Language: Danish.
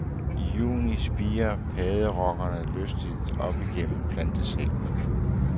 I juni spirer padderokkerne lystigt op igennem plantesækkene.